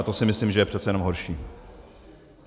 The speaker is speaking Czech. A to si myslím, že je přece jenom horší.